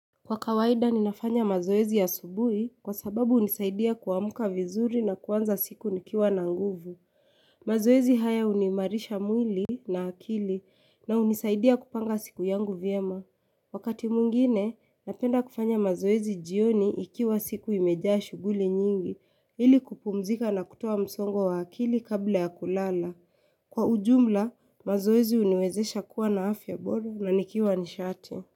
Kwa kawaida ninafanya mazoezi asubuhi kwa sababu hunisaidia kuamka vizuri na kuanza siku nikiwa na nguvu. Mazoezi haya hunimarisha mwili na akili na hunisaidia kupanga siku yangu vyema. Wakati mwingine napenda kufanya mazoezi jioni ikiwa siku imejaa shuguli nyingi ili kupumzika na kutowa msongo wa akili kabla ya kulala. Kwa ujumla mazoezi huniwezesha kuwa na afya bora na nikiwa nishate.